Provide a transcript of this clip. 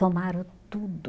Tomaram tudo.